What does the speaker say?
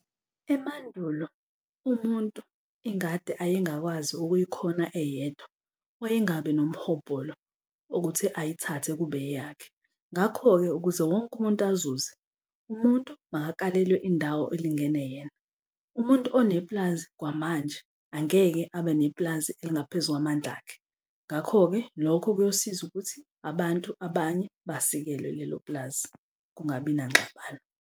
Emandulo umuntu ingadi ayengakwazi ukuyikhona eyedwa wayengabi nomhobholo okuthi ayithathe kube eyakhe, ngakho-ke, ukuze wonke umuntu azuze, umuntu makakalelwe indawo elingene yena. Umuntu onepulazi kwamanje angeke abe nepulazi elingaphezu kwamandla akhe. Ngakho-ke lokho kuyosiza ukuthi abantu abanye basikelwe lelo pulazi kungabi nangxabano.